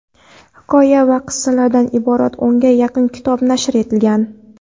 Hikoya va qissalardan iborat o‘nga yaqin kitobi nashr etilgan.